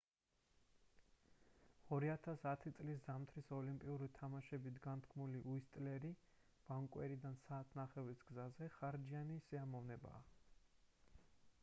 2010 წლის ზამთრის ოლიმპიური თამაშებით განთქმული უისტლერი ვანკუვერიდან 1.5 საათის გზაზე ხარჯიანი სიამოვნებაა